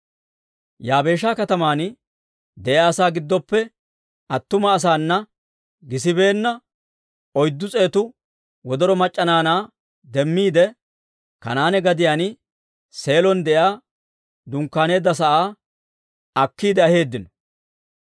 Yaabeesha kataman de'iyaa asaa giddooppe attuma asaana gisibeenna, oyddu s'eetu wodoro mac'c'a naanaa demmiide Kanaane gadiyaan, Seelon de'iyaa dunkkaaneedda sa'aa akkiide aheeddino.